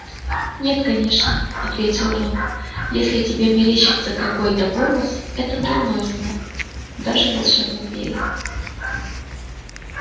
нет конечно ответил рон если тебе мерещится какой-то голос это дурной знак даже в волшебном мире